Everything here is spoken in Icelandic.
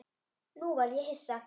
Nú varð ég hissa.